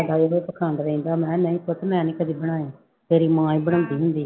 ਕਹਿੰਦਾ ਇਹੋ ਪਾਖੰਡ ਰਹਿੰਦਾ, ਮੈਂ ਕਿਹਾ ਨਹੀਂ ਪੁੱਤ ਮੈਂ ਨੀ ਕਦੇ ਬਣਾਾਏ, ਤੇਰੀ ਮਾਂ ਹੀ ਬਣਾਉਂਦੀ ਹੁੰਦੀ ਆ।